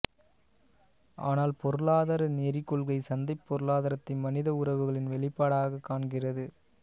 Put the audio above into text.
ஆனால் பொருளாதார நெறிக் கொள்கை சந்தைப் பொருளாதாரத்தை மனித உறவுகளின் வெளிப்பாடாகக் காண்கிறது